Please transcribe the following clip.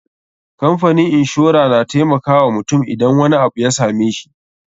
Kamfanin inshora na taimakawa mutum idan wani abu ya same shi.